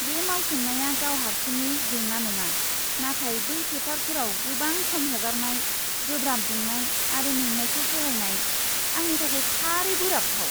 बे मावसोमनाया गाव हारसिङै जेंना नङा, नाथाय बै फोथारफोराव गोबां सम हगारनाय, गोब्राब दुंनाय आरो मेंनायखौ सहायनाय, आंनि थाखाय थारै बोराबथाव!